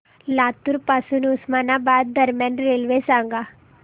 लातूर पासून उस्मानाबाद दरम्यान रेल्वे सांगा